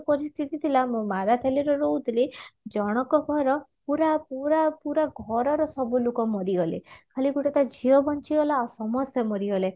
ପରିସ୍ଥିତି ଥିଲା ମୁଁ ମାରାଖୋଲ ରେ ରହୁଥିଲି ଜଣଙ୍କ ଘର ପୁରା ପୁରା ପୁରା ଘରର ସବୁ ଲୋକ ମରିଗଲେ ଖାଲି ଗୋଟେ ତା ଝିଅ ବଞ୍ଚିଗଲା ଆଉ ସମସ୍ତେ ମରିଗଲେ